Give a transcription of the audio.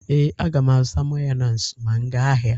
Ee, aga m azụta Mayonis ma m gaa ahịa.